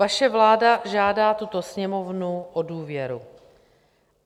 Vaše vláda žádá tuto Sněmovnu o důvěru.